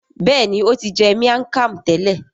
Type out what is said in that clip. Béèni o ti jẹ miang Kham tẹlẹ.